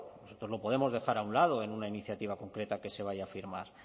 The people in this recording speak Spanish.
nosotros lo podemos dejar a un lado en una iniciativa concreta que se vaya a firmar